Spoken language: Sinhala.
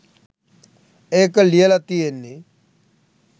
ඒක ලියල තියෙන්නෙ